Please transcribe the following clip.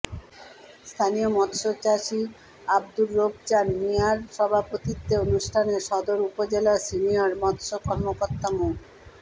স্থানীয় মৎস্য চাষী আব্দুর রউফ চাঁন মিয়ার সভাপতিত্বে অনুষ্ঠানে সদর উপজেলার সিনিয়র মৎস্য কর্মকর্তা মো